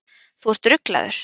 Þú ert ruglaður.